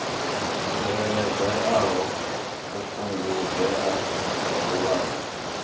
tsireledzeaho u fhungudzea ha vhuvhava